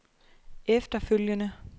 efterfølgende